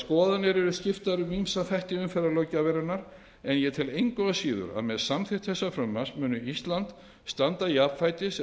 skoðanir eru skiptar um ýmsa þætti umferðarlöggjafarinnar en ég tel engu að síður að með samþykkt þessa frumvarps muni ísland standa jafnfætis eða